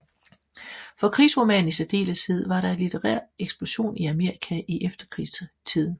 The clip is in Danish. For krigsromanen i særdeleshed var der en litterær eksplosion i Amerika i efterkrigstiden